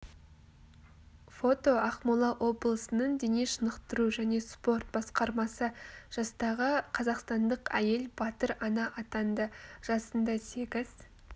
фото ақмола облысының дене шынықтыру және спорт басқармасы жастағы қазақстандық әйел батыр ана атанды жасында сегіз